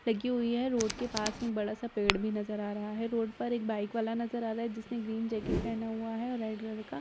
लगी हुई है रोड के पास में एक बड़ा सा पेड़ भी नजर आ रहा है रोड पर एक बाइक वाला नजर आ रहा है जिसने ग्रीन जैकेट पहना हुआ है और रेड कलर का --